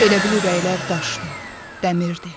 Elə bil ürəklər daşdı, dəmirdi.